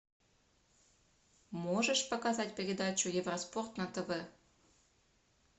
можешь показать передачу евроспорт на тв